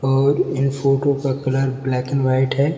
और ये फोटो का कलर ब्लैक एंड वाइट है।